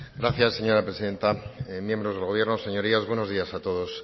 gracias señora presidenta miembros del gobierno señorías buenos días a todos